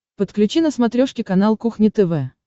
подключи на смотрешке канал кухня тв